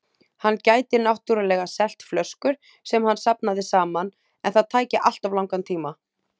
Hann gæti náttúrlega selt flöskur sem hann safnaði saman, en það tæki alltof langan tíma.